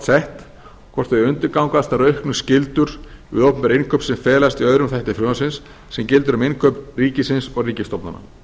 sett hvort þau undirgangast þær auknu skyldur við opinber innkaup sem felast í öðrum þætti frumvarpsins sem gildir um innkaup ríkisins og ríkisstofnana